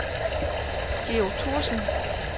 Georg Thorsen